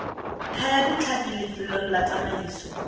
thaya ditlhapi lefelo la tsamaiso